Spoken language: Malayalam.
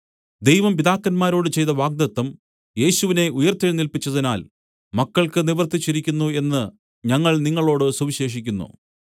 ദൈവം പിതാക്കന്മാരോട് ചെയ്ത വാഗ്ദത്തം യേശുവിനെ ഉയിർത്തെഴുന്നേല്പിച്ചതിനാൽ മക്കൾക്ക് നിവർത്തിച്ചിരിക്കുന്നു എന്ന് ഞങ്ങൾ നിങ്ങളോടു സുവിശേഷിക്കുന്നു